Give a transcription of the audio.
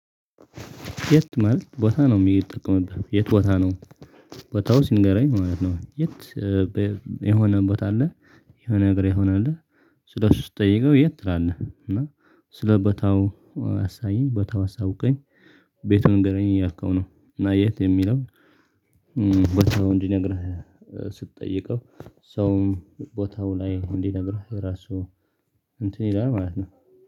የት ማለት ቦታ ነው የሚጠቀምበት የት ቦታ ነው? ቦታው ሲንገረኝ ማለት ነው የት በ የሆነ ቦታ አለ የሆነ ነገር ይሆናል ስለሱ ስትጠይቀው የት ትላለህ እና ስለቦታው ቦታው አሳየኝ በታው አሳውቀኝ ቤቱን እንገናኝ እያልከው ነው እና የት የሚለው ቦታው እንዲነግርህ ስትጠይቀው ሰውም ቦታው ላይ እንዲነግርህ የራሱ እንትን ይላል ማለት ነው።